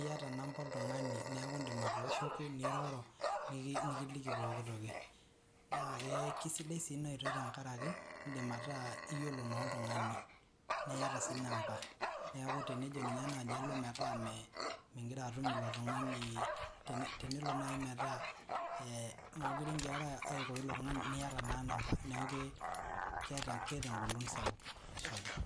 iyata namba oltung'ani neeku idim atooshoki, niroro, nikiliki pooki toki. Na kisidai si inoitoi tenkaraki, idim ataa iyiolo naa oltung'ani. Niyata si namba. Neeku tenejo ninye nai alo metaa migira atum ilo tung'ani, tenelo nai metaa mokure girara aiko ilo tung'ani, niata naa namba. Neeku keeta engolon sapuk. Ashe oleng'.